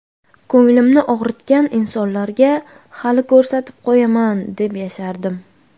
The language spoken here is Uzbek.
Ko‘nglimni og‘ritgan insonlarga hali ko‘rsatib qo‘yaman deb yashardim.